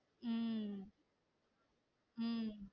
உம் உம்